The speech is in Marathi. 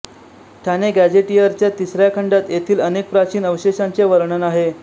ठाणे गॅझेटिअरच्या तिसऱ्या खंडात येथील अनेक प्राचीन अवषेशांचे वर्णन आहे